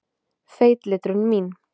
Feitletrun mín.